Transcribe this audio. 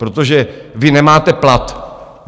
Protože vy nemáte plat.